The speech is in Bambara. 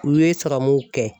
U ye sirɔmuw kɛ.